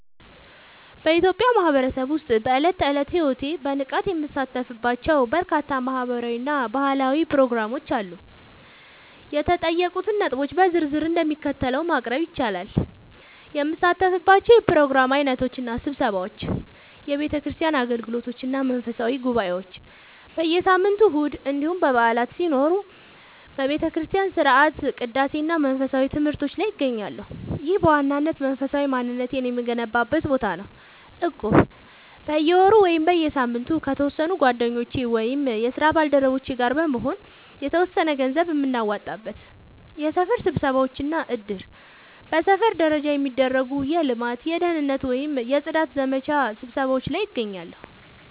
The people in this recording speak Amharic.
በኢትዮጵያ ማህበረሰብ ውስጥ በዕለት ተዕለት ሕይወቴ በንቃት የምሳተፍባቸው በርካታ ማህበራዊ እና ባህላዊ ፕሮግራሞች አሉ። የተጠየቁትን ነጥቦች በዝርዝር እንደሚከተለው ማቅረብ ይቻላል፦ የምሳተፍባቸው የፕሮግራም ዓይነቶች እና ስብሰባዎች፦ የቤተክርስቲያን አገልግሎቶች እና መንፈሳዊ ጉባኤዎች፦ በየሳምንቱ እሁድ እንዲሁም በዓላት ሲኖሩ በቤተክርስቲያን ሥርዓተ ቅዳሴ እና መንፈሳዊ ትምህርቶች ላይ እገኛለሁ። ይህ በዋናነት መንፈሳዊ ማንነቴን የምገነባበት ቦታ ነው። እቁብ፦ በየወሩ ወይም በየሳምንቱ ከተወሰኑ ጓደኞቼ ወይም የስራ ባልደረቦቼ ጋር በመሆን የተወሰነ ገንዘብ የምናዋጣበት። የሰፈር ስብሰባዎች እና እድር፦ በሰፈር ደረጃ የሚደረጉ የልማት፣ የደህንነት ወይም የጽዳት ዘመቻ ስብሰባዎች ላይ እገኛለሁ።